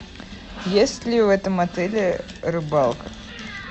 есть ли в этом отеле рыбалка